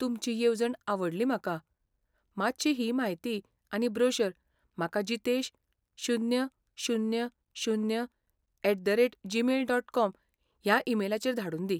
तुमची येवजण आवडली म्हाका, मातशी ही म्हायती आनी ब्रोशर म्हाका जितेश, शुन्य, शुन्य, शुन्य, at, the, rate, Gmail, dot, com ह्या ईमेलाचेर धाडून दी.